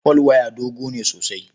Folwaya dogo ne sosai.